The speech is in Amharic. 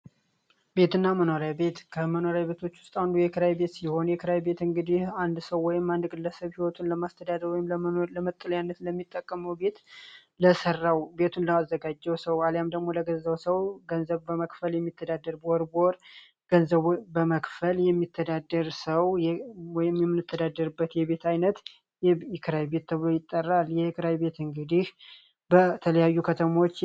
ቤት እና መኖራይ ቤት ከመኖራይ ቤቶች ውስጥ አንዱ የክራ ቤት ሲሆን የክራይ ቤት እንግዲህ አንድ ሰው ወይም አንድ ግለሰብ ህይወቱን ለማስተዳደ የምኖሪያነት ለመጠልያነት ለሚጠቀመው ቤት ለሰራው ቤቱን ለማዘጋጀው ሰው አሊያም ደግሞ ለገንዘው ሰው ገንዘብ በመክፈል የሚተዳደር በወር በወር ገንዘብ በመክፈል የሚተው የምንተዳደርበት የቤት ዓይነት እክራይ ቤት ይጠራል። የእክራይ ቤት እንግዲህ በተለያዩ ከተሞች